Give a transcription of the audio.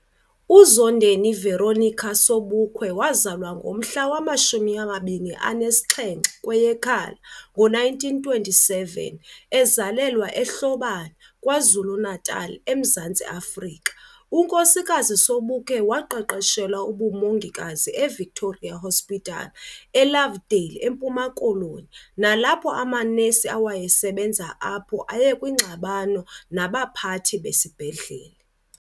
UZondeni Veronica Sobukwe wazalwa ngomhla wama 27 kweyeKhala 1927, ezalelwa eHlobane, KwaZulu Natal eMzantsi Afrika. UNkosikazi Sobukwe waqeqeshelwa ubumongikazi eVictoria Hospital eLovedale eMpuma Koloni nalapho amanesi awayesebenza apho ayekwingxabano nabaphathi besisibhedlele.